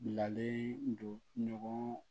Bilalen don ɲɔgɔn na